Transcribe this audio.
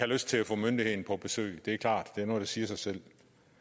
lyst til at få myndigheden på besøg det er klart det er noget der siger sig selv